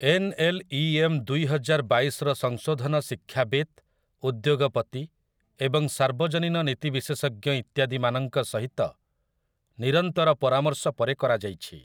N. L. E. M. ଦୁଇହଜାର ବାଇଶ'ର ସଂଶୋଧନ ଶିକ୍ଷାବିତ୍, ଉଦ୍ୟୋଗପତି ଏବଂ ସାର୍ବଜନୀନ ନୀତି ବିଶେଷଜ୍ଞ ଇତ୍ୟାଦିମାନଙ୍କ ସହିତ ନିରନ୍ତର ପରାମର୍ଶ ପରେ କରା ଯାଇଛି ।